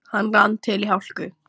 Hann rann til í hálku.